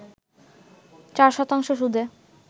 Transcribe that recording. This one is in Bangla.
৪ শতাংশ সুদে